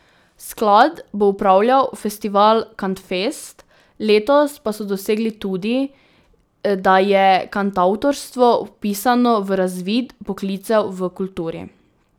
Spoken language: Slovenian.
Sklad bo upravljal festival Kantfest, letos pa so dosegli tudi, da je kantavtorstvo vpisano v razvid poklicev v kulturi.